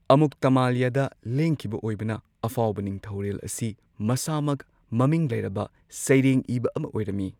ꯑꯃꯨꯛꯇꯃꯜꯌꯥꯗ ꯂꯦꯡꯈꯤꯕ ꯑꯣꯏꯕꯅ, ꯑꯐꯥꯎꯕ ꯅꯤꯡꯊꯧꯔꯦꯜ ꯑꯁꯤ ꯃꯁꯥꯃꯛ ꯃꯃꯤꯡ ꯂꯩꯔꯕ ꯁꯩꯔꯦꯡ ꯏꯕ ꯑꯃ ꯑꯣꯏꯔꯝꯃꯤ꯫